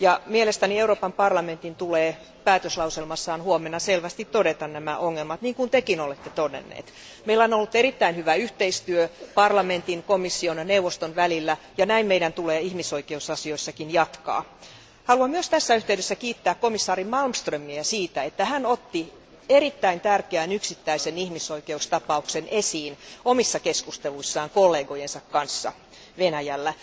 Mielestäni Euroopan parlamentin tulee päätöslauselmassaan huomenna selvästi todeta nämä ongelmat, niin kuin Tekin olette todenneet. Meillä on ollut erittäin hyvä yhteistyö parlamentin, komission ja neuvoston välillä ja näin meidän tulee ihmisoikeusasioissakin jatkaa. Haluan myös tässä yhteydessä kiittää komission jäsen Malmströmiä siitä, että hän otti erittäin tärkeän yksittäisen ihmisoikeustapauksen esiin omissa keskusteluissaan kollegojensa kanssa Venäjällä.